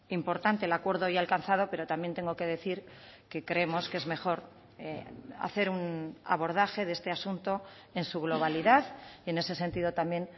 importante el acuerdo hoy alcanzado pero también tengo que decir que creemos que es mejor hacer un abordaje de este asunto en su globalidad y en ese sentido también